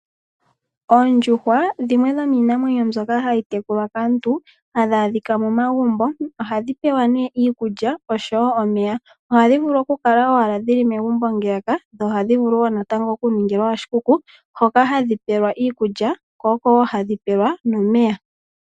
Oondjuhwaa dhimwe dhomiinamwenyo mbyoka hayi tekulwa kaantu, hadhaadhika momagumbo ohadhi pewa nee iikulya oshowoo omeya. Ohadhivulu okukala owala megumbo ngeyaka, nohadhivulu woo natango okuningilwa oshikuku hoka hadhi pelwa iikulya ko okowoo hadhi pelwa nomeya.